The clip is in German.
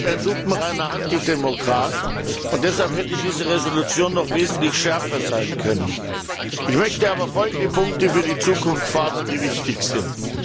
Herr Putin ist ein lupenreiner Antidemokrat, und deshalb hätte diese Entschließung noch wesentlich schärfer sein können. Ich möchte aber folgende Punkte für die Zukunft fordern, die wichtig sind.